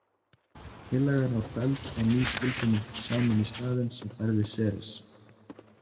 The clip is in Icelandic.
Tillagan var felld og ný skilgreining samin í staðin sem færði Seres.